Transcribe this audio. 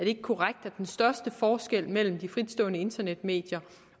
ikke korrekt at den største forskel mellem de fritstående internetmedier